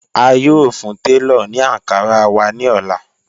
A yóò fún tẹlọ̀ ní Ankara wà ní ọ̀lá.